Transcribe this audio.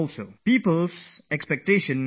But people always had high expectations from me